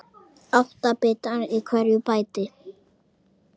Átta bitar eru í hverju bæti.